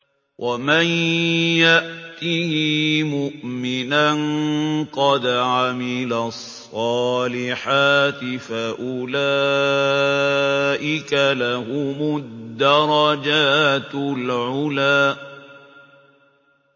وَمَن يَأْتِهِ مُؤْمِنًا قَدْ عَمِلَ الصَّالِحَاتِ فَأُولَٰئِكَ لَهُمُ الدَّرَجَاتُ الْعُلَىٰ